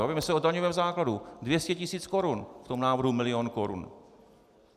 Bavíme se o daňovém základu - 200 tisíc korun v tom návrhu milion korun.